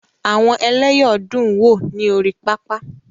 Àwọn ẹlẹ́yọ̀ dun wo ni ori papa.